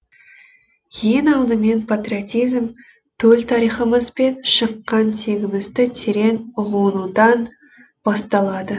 ең алдымен патриотизм төл тарихымыз бен шыққан тегімізді терең ұғынудан басталады